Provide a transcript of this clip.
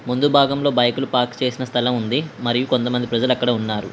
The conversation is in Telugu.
ముందు భాగంలో బైకులు పార్క్ చేసిన స్థలం ఉంది మరియు కొంతమంది ప్రజలు అక్కడ ఉన్నారు.